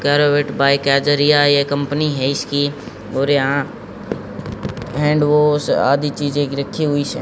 corvette bike का जरिया है ये कंपनी हैं इसकी और यहां हैंडवाश आदि चीजें रखी हुई से--